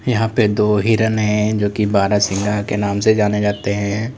यहां पे दो हिरण है जोकि बारहसिंगा के नाम से जाने जाते हैं।